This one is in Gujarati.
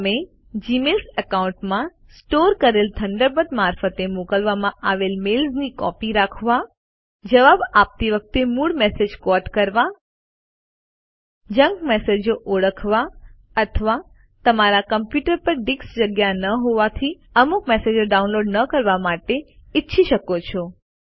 તમે જીમેઇલ એકાઉન્ટમાં સ્ટોર કરેલ થન્ડરબર્ડ મારફતે મોકલવામાં આવેલ મેલ્સની કોપી રાખવા જવાબ આપતી વખતે મૂળ મેસેજ ક્વૉટ કરવા જંક મેસેજો ઓળખવા અથવા તમારા કમ્પ્યુટર પર ડિસ્ક જગ્યા ન હોવાથી અમુક મેસેજો ડાઉનલોડ ન કરવા માટે ઈચ્છી શકો છો